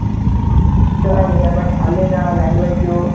ಚೆನ್ನಾಗಿದೆ ಬಟ್ ಅಲ್ಲಿನ language ಹು,